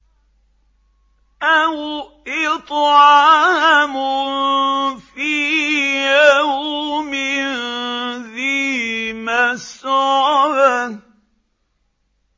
أَوْ إِطْعَامٌ فِي يَوْمٍ ذِي مَسْغَبَةٍ